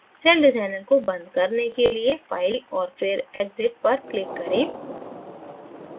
celldesigner को बंद करने के लिये file और फिर exit पर click करें